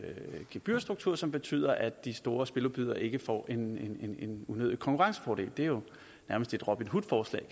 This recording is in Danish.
gebyrstruktur som betyder at de store spiludbydere ikke får en udvidet konkurrencefordel det er jo nærmest et robin hood forslag